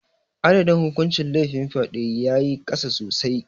Adadin hukuncin laifin fyade ya yi ƙasa sosai.